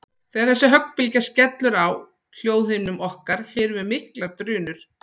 Þegar þessi höggbylgja skellur á hljóðhimnum okkar heyrum við miklar drunur.